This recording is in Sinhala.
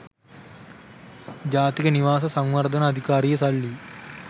ජාතික නිවාස සංවර්ධන අධිකාරියේ සල්ලි